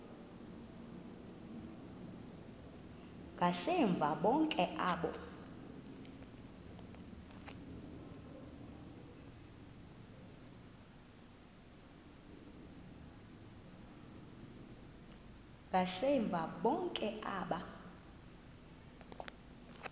ngasemva bonke aba